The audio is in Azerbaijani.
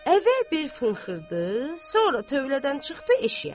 Əvvəl bir fınxırdı, sonra tövlədən çıxdı eşiyə.